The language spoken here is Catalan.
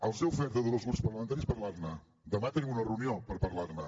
els he ofert a tots els grups parlamentaris parlar ne demà tenim una reunió per parlar ne